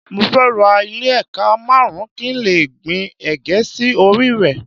Mo fẹ́ ra ilẹ̀ ékà márùn-ún kí n lè gbìn ègé sí orí rẹ̀